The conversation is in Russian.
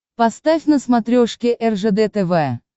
поставь на смотрешке ржд тв